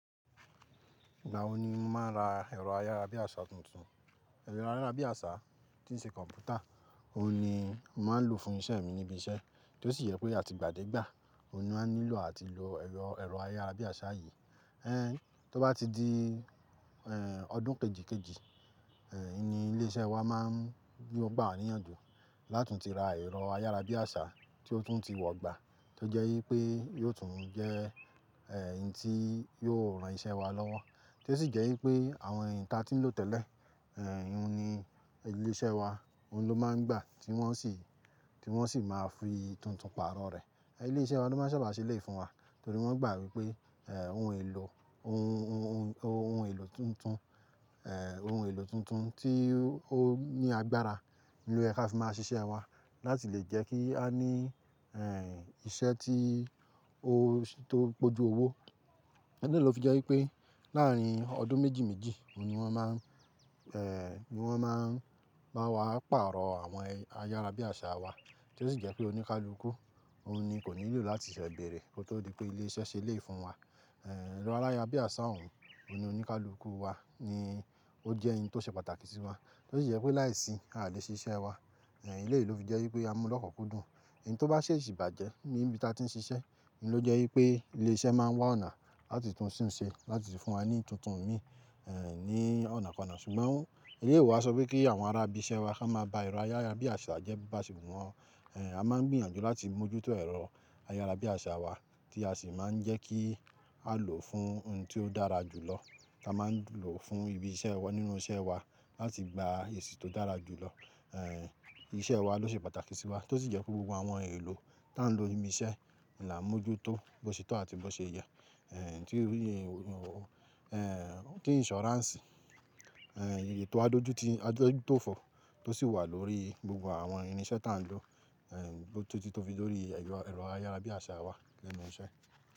Ìgbà wo ni mo máa ń ra ẹ̀rọ ayárabíàṣá tuntun? Ẹ̀rọ ayárabíàṣá tí ń ṣe kọ̀mpútà, òun ni mo máa ń lò fún iṣẹ́ mi níbi iṣẹ́, tó sì yẹ pé àti ìgbàdégbà, òun ni mo maa n nílò àti lò ẹ̀rọ, ẹ̀rọ ayárabíàṣá yìí. Ẹn, tó bá ti di, ẹ́ẹ́, ọdún kejìkejì, ẹ́ẹ́, ni ilé iṣẹ́ wa máa ń, gbà wá níyànjú láti tún ti ra ẹ̀rọ ayárabíàṣá tí ó tún ti wọ̀gbà, tó jẹ́ wípé yóò tún jẹ́, ẹ́ẹ́, ohun tí yóò ran iṣẹ́ wa lọ́wọ́. Tó ṣì jẹ́ wípé àwọn ǹta tí ń lò tẹ́lẹ̀, ẹ́ẹ́, òun ni ilé iṣẹ́ wa, òun ló máa ń gbà tí wọ́n sì, tí wọ́n sì máa ń fi tuntun pààrọ̀ rẹ̀. Ilé iṣẹ́ wa ló máa ń ṣẹ̀bà yi ṣélé fún wa, torí wọ́n gbà wípé, ẹ́ẹ́, ohun èlò, ohun, ohun, ohun èlò tuntun, ẹ́ẹ́, ohun èlò tuntun tí ó ní agbára ni ó yẹ kí a fi máa ṣiṣẹ́ wa láti lè jẹ́ kí a ní, ẹ́ẹ́, iṣẹ́ tí ó tó pọ̀ju owó. Ẹ̀lè ló fi jẹ́ wípé láàárín ọdún méjì méjì, òun ni wọ́n máa ń, ẹ́ẹ́, ni wọ́n máa ń bá wa pààrọ̀ àwọn ayárabíàṣá wa, tó ṣì jẹ́ pé oníkálukú, òun ni kò nílò láti ṣẹ̀ bẹ̀rẹ̀ kó tó di pé ilé iṣẹ́ ṣelé fún wa. Ẹ̀ẹ́, ẹ̀rọ ayárabíàṣá òun, òun oníkálukú wa ni ó jẹ́ ohun tó ṣe pàtàkì sí wa. Tó sì jẹ́ pé láìsí à lẹ ṣiṣẹ́ wa, ẹ̀, eleyii ló fi jẹ́ wípé a mú lọ́kunkúdùn. Eyi tó bá ṣe ṣìbàjẹ́ ní ibi tí a ti ń ṣiṣẹ́ ni ó jẹ́ wípé ilé iṣẹ́ máa ń wá ọ̀nà láti tún ṣùn ṣe láti fi fún wa ní tuntun mi, ẹ́ẹ́, ní ọ̀nàkọ́nà. Ṣùgbọ́n eléyii o wa sọ wípé kí àwọn ará ibi iṣẹ́ wa ko máa ba ẹ̀rọ ayárabíàṣá jẹ bo ba ṣe wùwọn. Ẹ̀ẹ́, a máa ń gbìyànjú láti mójútó ẹ̀rọ ayárabíàṣá wa tí a sì máa ń jẹ́ kí á lò fún ohun tí ó dára jù lọ. A máa ń lò fún ibi iṣẹ́ wa nínú iṣẹ́ wa láti gba èsì tó dára jù lọ. Ẹ́ẹ́, iṣẹ́ wa ló ṣe pàtàkì sí wa, tó sì jẹ́ pé gbogbo àwọn ohun èlò tí à ń lò níbi iṣẹ́, ohun la mójútó bó ṣe tó àti bó ṣe yá, ẹ́ẹ́, tí irú irú ohun, ẹ́ẹ́, tí insurance, ẹ́ẹ́, ètò adójútó adójútófọ̀ tó sì wà lórí gbogbo àwọn irinṣẹ́ tí à ń lò, ẹ́ẹ́, tótí tó fi lórí ẹ̀rọ, ẹ̀rọ ayárabíàṣá wa lẹ́nu iṣẹ́.